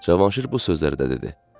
Cavanşir bu sözləri də dedi.